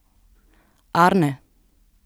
Arne?